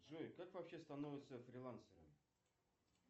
джой как вообще становятся фрилансерами